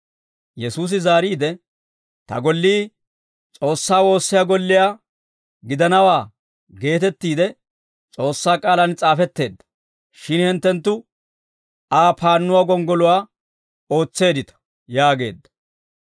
Yesuusi zaariide, « ‹Ta gollii S'oossaa woossiyaa golliyaa gidanawaa› geetettiide S'oossaa k'aalaan s'aafetteedda. Shin hinttenttu Aa paannuwaa gonggoluwaa ootseeddita» yaageedda.